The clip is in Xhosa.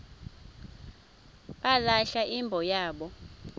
balahla imbo yabo